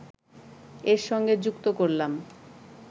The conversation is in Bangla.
এর সঙ্গে যুক্ত করলাম